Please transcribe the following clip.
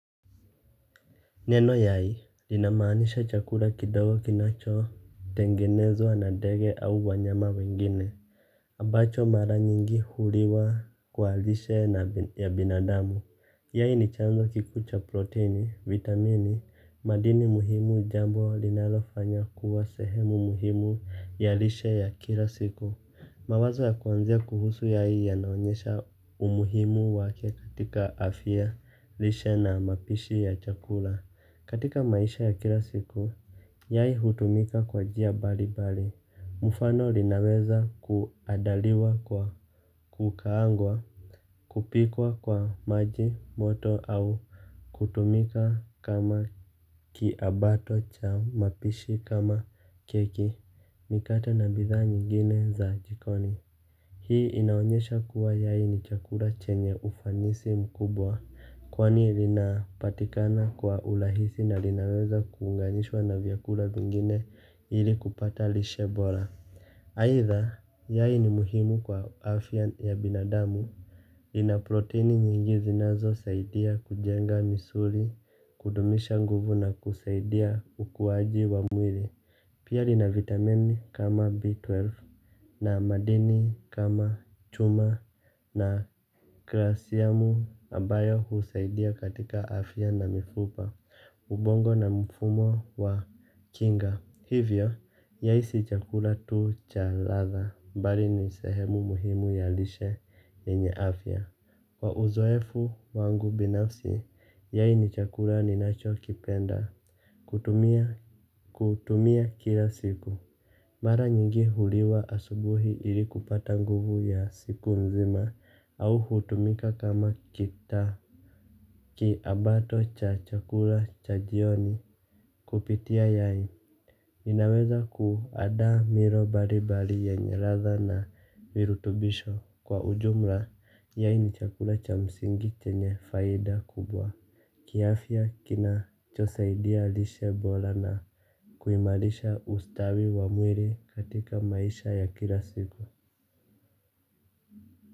Neno yai, linamaanisha chakula kidogo kinacho, tengenezwa na ndege au wanyama wengine. Ambacho mara nyingi huliwa kwa lishe ya binadamu. Yai ni chanzo kikuu cha protini, vitamini, madini muhimu jambo linalofanya kuwa sehemu muhimu ya lishe ya kila siku. Mawazo ya kuanzia kuhusu yai yanaonyesha umuhimu wake katika afya lishe na mapishi ya chakula. Katika maisha ya kila siku, yai hutumika kwa njia bali bali, mfano linaweza kuandaliwa kwa kukaangwa, kupikwa kwa maji moto au kutumika kama kiabato cha mapishi kama keki, mikate na bidhaa nyingine za jikoni. Hii inaonyesha kuwa yai ni chakula chenye ufanisi mkubwa kwani lina patikana kwa urahisi na linaweza kuunganishwa na vyakula vingine ili kupata lishe bora aidha, yai ni muhimu kwa afya ya binadamu. Inaprotini nyingi zinazo saidia kujenga misuli, kudumisha nguvu na kusaidia ukuwaji wa mwili. Pia lina vitamini kama B12 na madini kama chuma na kalsiamu ambayo husaidia katika afya na mifupa, ubongo na mfumo wa kinga. Hivyo, yai si chakula tu cha ladha, bali ni sehemu muhimu ya lishe yenye afya. Kwa uzoefu wangu binafsi, yai ni chakula ninacho kipenda. Kutumia kila siku mara nyingi huliwa asubuhi ili kupata nguvu ya siku nzima au hutumika kama kita kiabato cha chakula cha jioni kupitia yai. Ninaweza kuanda milo mbali mbali yenye ladha na virutubisho kwa ujumla yai ni chakula cha msingi chenye faida kubwa. Kiafya kinacho saidia lishe bora na kuimarisha ustawi wa mwili katika maisha ya kila siku.